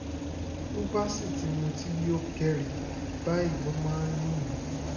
bó bá sì ti mutí yó kẹ́ri báyìí ló máa ń lù mí